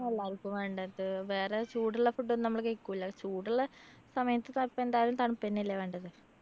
എല്ലാര്‍ക്കും വേണ്ടത്. വേറെ ചൂടുള്ള food ഒന്നും നമ്മള് കഴിക്കൂല. ചൂടുള്ള സമയത്ത് ത എന്തായാലും തണുത്തന്നല്ലേ വേണ്ടത്.